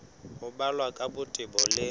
ho balwa ka botebo le